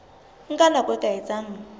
nka nako e ka etsang